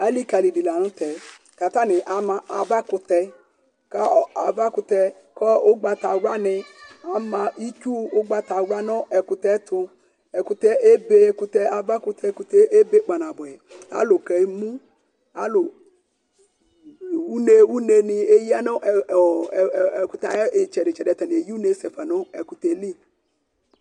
alïkali di la'ntɛ́ k'atanï ama avä kũtɛ kaɔ avakũtɛ kɔ ũgbata wla nï ama ɨtsu ũgbata wlua nũ ɛkutɛ tʊ ɛkutɛ ébé ava kũtɛ ébé kpana buɛ alũ kemũ alũ uné uné nï éya nũ ɛkũtɛ ayitsɛdi tsɛdi